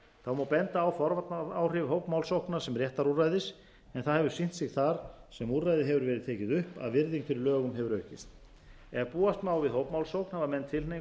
þá má benda á forvarnaáhrif hópmálsókna sem réttarúrræðis en það hefur sýnt sig þar sem úrræðið hefur verið tekið upp að virðing fyrir lögum hefur aukist ef búast má við hópmálsókn hafa menn tilhneigingu